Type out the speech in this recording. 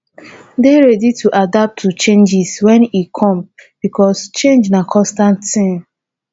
dey ready to adapt to changes when e come because change na constant thing